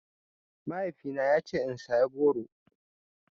Mahaifina ya ce in saya goro.